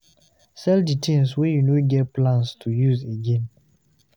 Sell di things wey you no get plans to use again